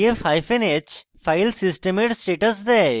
df hyphen h file সিস্টেমের status দেয়